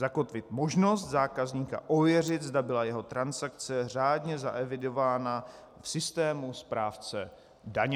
Zakotvit možnost zákazníka ověřit, zda byla jeho transakce řádně zaevidována v systému správce daně.